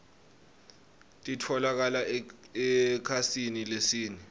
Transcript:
tinoueli titfolokala ekhasini lesine